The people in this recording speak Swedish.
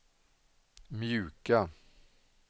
mjuka